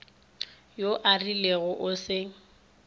yo a rilego e se